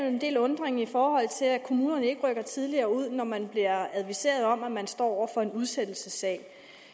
jo en del undren i forhold til at kommunerne ikke rykker tidligere ud når man bliver adviseret om at man står over for en udsættelsessag